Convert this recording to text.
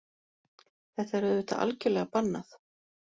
Þetta er auðvitað algjörlega bannað